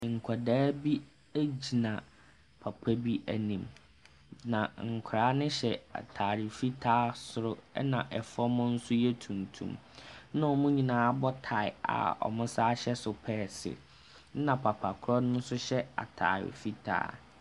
Nkwadaa bi gyina papa bi anim, na nkwadaa no hyɛ atade fitaa soro, ɛna ɛfam nso yɛ tuntum, ɛna wɔn nyinaa abɔ tie a wɔsane hyɛ sopɛɛse, ɛna papa korɔ no nso hyɛ atade fitaa.